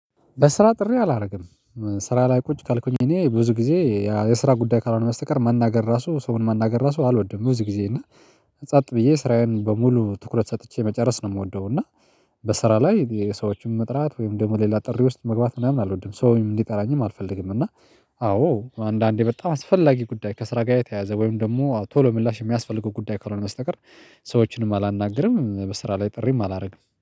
በስራ ጥሪ አላደርግም። ስራ ላይ ቁጭ ካልኩኝ እኔ ብዙ ጊዜ የስራ ጉዳይ ካልሆነ በስተቀር ማናገር ራሱ ሰውን መናገር ራሱ አልወድም ብዙ ጊዜ እና ጸጥ ብዬ ስራዬን በሙሉ ትኩረት ሰጥቼ መጨረስ ነው የምወደው። እና በስራ ላይ የሰዎችን መጥራት ወይም ደግሞ ሌላ ጥሪ ውስጥ መግባት ምናምን አልወድም ሰውም እንዲጠራኝም አልፈልግም። እና አዎ አንዳንዴ በጣም አስፈላጊ ጉዳይ ከስራ ጋር የተያዘ ወይም ደግሞ ቶሎ ምላሽ የሚያስፈልገው ጉዳይ ካልሆነ በስተቀር ሰዎችንም አላናገርም። በስራ ላይ ጥሪም አላደርግም